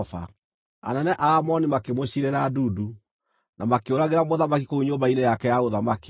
Anene a Amoni makĩmũciirĩra ndundu, na makĩũragĩra mũthamaki kũu nyũmba-inĩ yake ya ũthamaki.